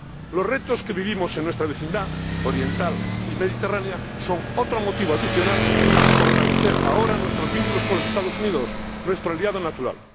Los retos que vivimos en nuestra vecindad oriental y mediterránea son otro motivo adicional para fortalecer ahora nuestros vínculos con los Estados Unidos, nuestro aliado natural.